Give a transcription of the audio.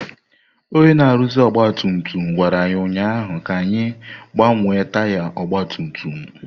Onye na-arụzi ọgba tum tum gwara anyị ụnyaahụ ka anyị gbanwee taya ọgba tum tum.